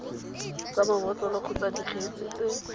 tsa mabotlolo kgotsa dikgetse tse